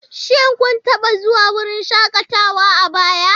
Shin kun taba zuwa wurin shakatawa a baya?